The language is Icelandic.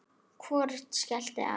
Hvorugt skellti á.